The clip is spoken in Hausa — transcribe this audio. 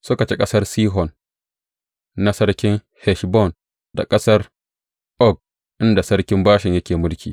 Suka ci ƙasar Sihon na sarkin Heshbon da ƙasar Og inda sarkin Bashan yake mulki.